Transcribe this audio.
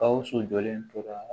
Gawusu jɔlen tora